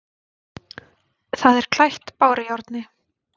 Það er klætt bárujárni.